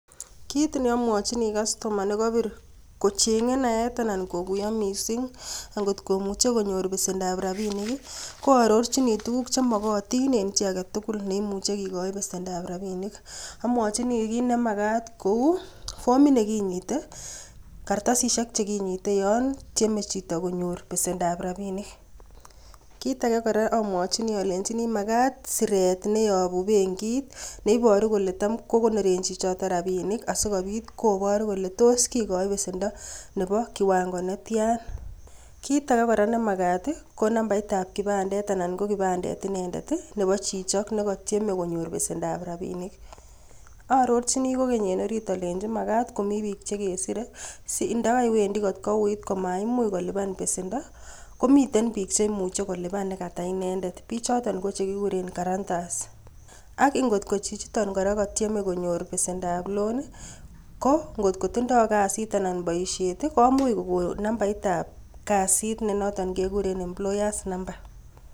Kiit ne amwochini kastoma nekapiir kochenge naet anan kokuyo mising, ngotko muchei konyor besendoab rapinik ko arorchini tuguk chemakatin eng chi age tugul neimuche kekoch besendoab rapinik, amwochini kiit nemakat kou fomit ne kinyite, karatasisiek che kinyitei yon tieme chito konyor besendoab rapinik. Kiit ake, amwonchini alenchini makat siret neyopu benkit ne iporu kole tam kokonorei chichoto rapinik asikopit koparu kole tos kikoch besendo nebo kiwango netyan. Kiit ake kora nemakat, ko nambaritab kipandet anan ko kipandet inendet nebo chichok nekatieme konyor besendoap rapinik. Aarorchini kokeny eng ariit aleni makat komi biik chekeserei sindakawendi kot kouuit komaimuch kolipani besendo komitei biik chekalipan nekata inendet. Biichoto ko chekikuuren guarantors ak ngotko chichito kora kokatieme konyor besendoab loan ko ngotko tindoi kasit anan boisiet komuch kokon nambaritab kasit nenoton kekuren employers number.